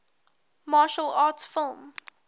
martial arts film